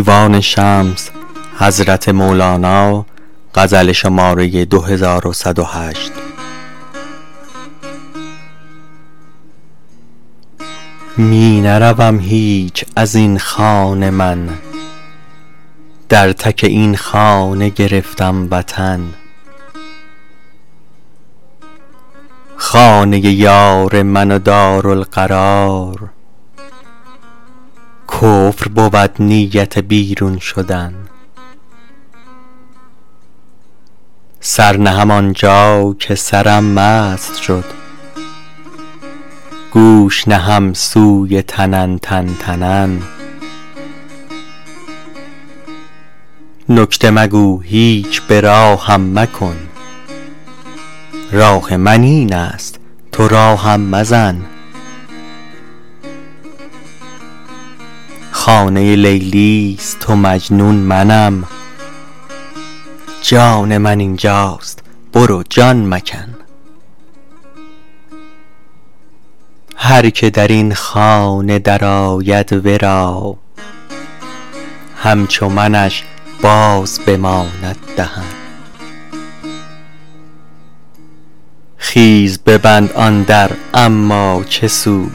می نروم هیچ از این خانه من در تک این خانه گرفتم وطن خانه یار من و دارالقرار کفر بود نیت بیرون شدن سر نهم آن جا که سرم مست شد گوش نهم سوی تنن تنتنن نکته مگو هیچ به راهم مکن راه من این است تو راهم مزن خانه لیلی است و مجنون منم جان من این جاست برو جان مکن هر کی در این خانه درآید ورا همچو منش باز بماند دهن خیز ببند آن در اما چه سود